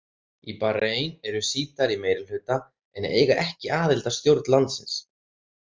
Í Bahrain eru Sjítar í meirihluta en eiga ekki aðild að stjórn landsins.